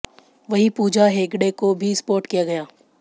वहीं पूजा हेगड़े को भी स्पॉट किया गया